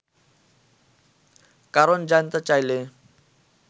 কারণ জানতে চাইলে